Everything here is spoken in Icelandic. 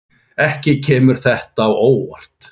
Ekki kemur þetta á óvart.